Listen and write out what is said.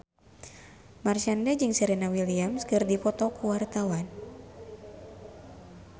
Marshanda jeung Serena Williams keur dipoto ku wartawan